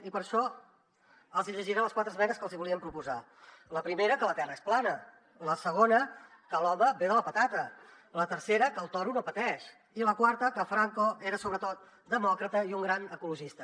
i per això els hi llegiré les quatre esmenes que els hi volíem proposar la primera que la terra és plana la segona que l’home ve de la patata la tercera que el toro no pateix i la quarta que franco era sobretot demòcrata i un gran ecologista